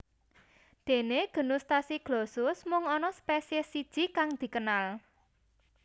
Déné genus Tachyglossus mung ana spesiès siji kang dikenal